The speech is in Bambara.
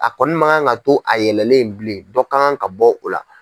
A kɔni makan kan ka to a yɛlɛlɛn bilen dɔ ka kan ka bɔ o la.